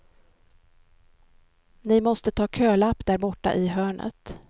Ni måste ta kölapp där borta i hörnet.